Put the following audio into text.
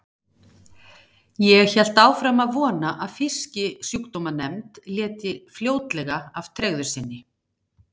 Ég hélt áfram að vona að Fisksjúkdómanefnd léti fljótlega af tregðu sinni.